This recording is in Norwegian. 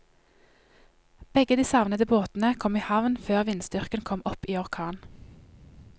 Begge de savnede båtene kom i havn før vindstyrken kom opp i orkan.